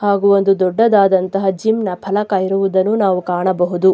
ಹಾಗೂ ಒಂದು ದೊಡ್ಡದಾದಂತಹ ಜಿಮ್ ನ ಫಲಕ ಇರುವುದನ್ನು ನಾವು ಕಾಣಬಹುದು.